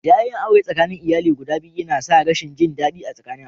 Jayayyan auren tsakanin iyali guda biyun na sa rashin jin dadi a alumman.